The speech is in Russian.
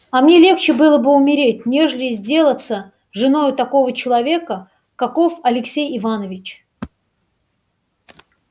а мне легче было бы умереть нежели сделаться женою такого человека каков алексей иванович